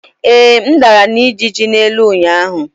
Ee, m dara na ijiji n'elu ụnyaahụ.